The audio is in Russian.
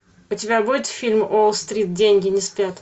у тебя будет фильм уолл стрит деньги не спят